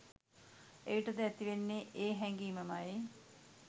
එවිට ද ඇතිවෙන්නේ ඒ හැඟීම ම යි